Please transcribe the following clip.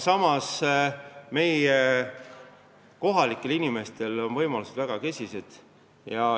Samas on kohalike inimeste võimalused väga kesised.